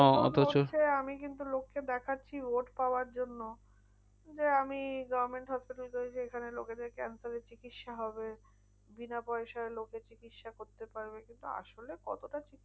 অথচ আমি কিন্তু লোককে দেখাচ্ছি ভোট পাওয়ার জন্য। যে আমি government hospital করেছি। এখানে লোকেদের cancer এর চিকিৎসা হবে। বিনাপয়সায় লোকে চিকিৎসা করতে পারবে। কিন্তু আসলে কতটা কি?